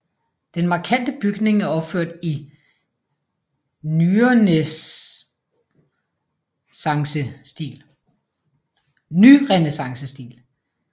Den markante bygning er opført i nyrenæssancestil